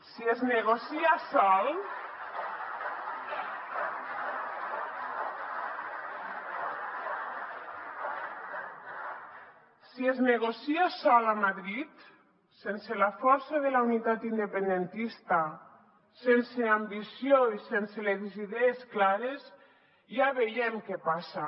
si es negocia sol a madrid sense la força de la unitat independentista sense ambició i sense les idees clares ja veiem què passa